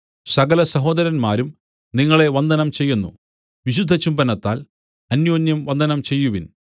സകലസഹോദരന്മാരും നിങ്ങളെ വന്ദനം ചെയ്യുന്നു വിശുദ്ധചുംബനത്താൽ അന്യോന്യം വന്ദനം ചെയ്യുവിൻ